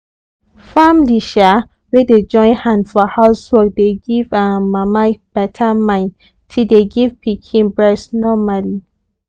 family um wey dey join hand for housework dey give um mama beta mind ti dey give pikin breast normally